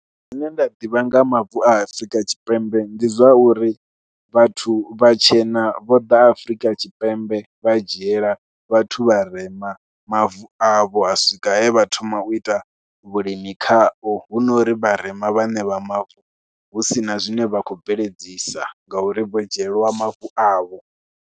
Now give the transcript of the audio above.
Zwine nda ḓivha nga mavu a Afrika Tshipembe ndi zwa uri vhathu vhatshena vho ḓa Afrika Tshipembe vha dzhiela vhathu vharema mavu avho, ha swika he vha thoma u ita vhulimi khao hu no ri vharema vhaṋe vha mavu hu si na zwine vha khou bveledzisa ngauri vho dzhieliwa mavu avho.